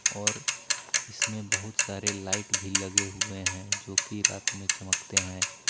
और इसमें बहुत सारे लाइट भी लगे हुए हैं जो की रात में चमकते हैं।